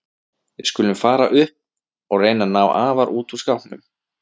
Við skulum fara upp og reyna að ná afa út úr skápnum.